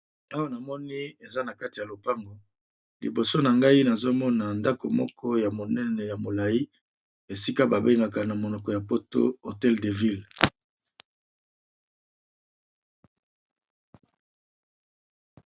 Awa namoni eza na kati ya lopango liboso na ngai nazo mona ndako moko ya monene ya molayi, esika ba bengaka na monoko ya poto hotel de ville.